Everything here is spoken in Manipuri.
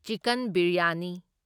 ꯆꯤꯛꯀꯟ ꯕꯤꯔꯌꯥꯅꯤ